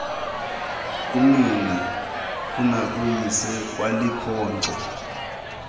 kunina kunakuyise ukwalikhonkco